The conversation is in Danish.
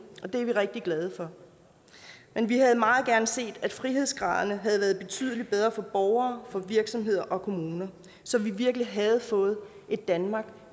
det er vi rigtig glade for men vi havde meget gerne set at frihedsgraderne havde været betydelig bedre for borgere for virksomheder og kommuner så vi virkelig havde fået et danmark